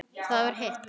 Það var hitt.